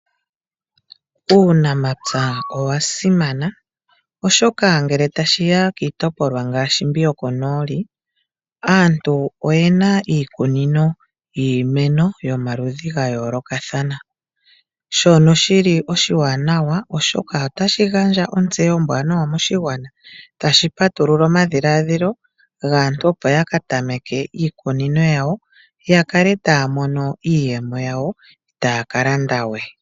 Uunamapya owa simana oshoka ngele tashiya kiitopolwa ngaashi mbi yokoNooli aantu oyena iikunino yiimeno yomaludhi ga yoolokathana shono shili oshiwanawa oshoka otashi gandja ontseyo ombwanawa moshigwana. Tashi patulula omadhiladhilo gaantu opo ya katameke iikunino yawo ya kale taya mono iiyemo yawo itaaya kalandawe.